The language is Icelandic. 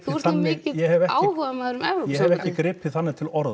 þú ert nú mikill áhugamaður um e s ég hef ekki gripið þannig til orða